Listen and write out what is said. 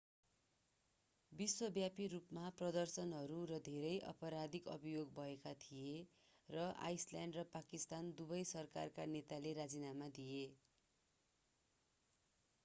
विश्वव्यापी रूपमा प्रदर्शनहरू र धेरै आपराधिक अभियोग भएका थिए र आइसल्यान्ड र पाकिस्तान दुबै सरकारका नेताले राजीनामा दिए